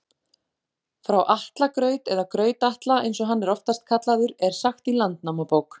Frá Atla graut, eða Graut-Atla eins og hann er oftast kallaður, er sagt í Landnámabók.